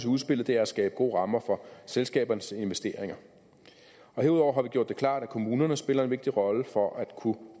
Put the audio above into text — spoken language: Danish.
udspillet er at skabe gode rammer for selskabernes investeringer herudover har vi gjort det klart at kommunerne spiller en vigtig rolle for at kunne